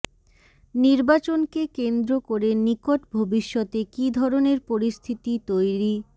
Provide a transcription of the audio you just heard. নির্বাচনকে কেন্দ্র করে নিকট ভবিষ্যতে কী ধরনের পরিস্থিতি তৈরি